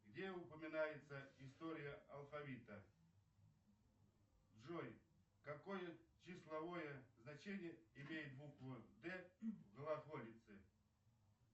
где упоминается история алфавита джой какое числовое значение имеет буква д в глаголице